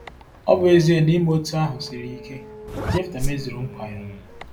Ọ bụ ezie na ime otú ahụ siri ike, Jefta mezuru nkwa ya